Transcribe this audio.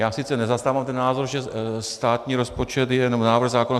Já sice nezastávám ten názor, že státní rozpočet je jenom návrh zákona.